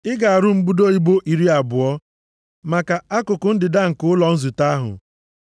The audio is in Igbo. Ị ga-arụ mbudo ibo iri abụọ maka akụkụ ndịda nke ụlọ nzute ahụ.